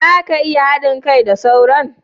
za ka iya hadin kai da sauran?